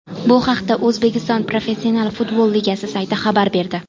Bu haqda O‘zbekiston professional futbol ligasi sayti xabar berdi .